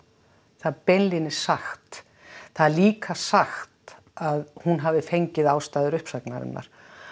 það er beinlínis sagt það er líka sagt að hún hafi fengið ástæður uppsagnarinnar